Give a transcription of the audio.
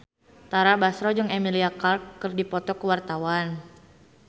Tara Basro jeung Emilia Clarke keur dipoto ku wartawan